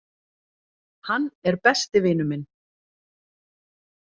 Hann er besti vinur minn